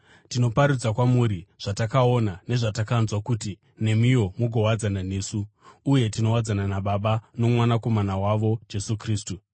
Tinoparidza kwamuri zvatakaona nezvatakanzwa, kuti nemiwo mugowadzana nesu. Uye tinowadzana naBaba noMwanakomana wavo, Jesu Kristu.